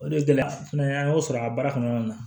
O de ye gɛlɛya fana an y'o sɔrɔ a baara kɔnɔna na